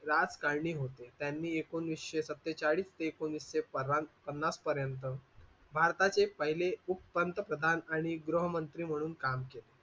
राजकारणी होते त्यांनी एकोणीसशे सत्तेचाळीस ते एकोणवीसशे पन्नास पर्यंत भारताचे पहिले पंतप्रधान आणि गृहमंत्री म्हणून काम केले.